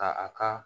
Ka a ka